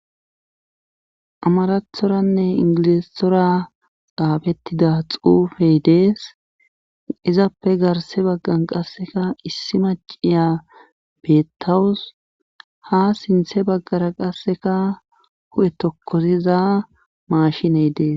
Amaarathoranne ingilizathoza xaafettida xeefe dees izappe garsse baggan qassikka issi macciya beettawus haa sinthe baggara qassikka hu7e tokkosiza maashinee des.